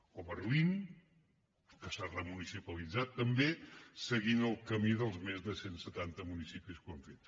o berlín que s’ha remunicipalitzat també seguint el camí dels més de cent setanta municipis que ho han fet